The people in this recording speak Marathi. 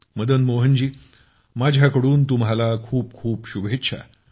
मदनमोहनजी माझ्याकडून तुम्हाला खूप खूप शुभेच्छा